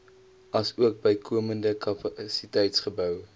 asook bykomende kapasiteitsbou